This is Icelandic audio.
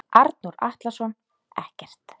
Arnór Atlason ekkert.